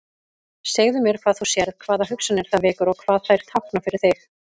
Segðu mér hvað þú sérð, hvaða hugsanir það vekur og hvað þær tákna fyrir þig.